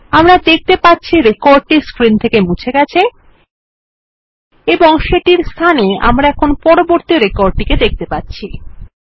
আমরা দেখতে পাচ্ছি রেকর্ডটি স্ক্রিন থেকে মুছে গেছে এবং সেটির স্থানে আমরা এখন পরবর্তী রেকর্ড টি দেখতে পাচ্ছি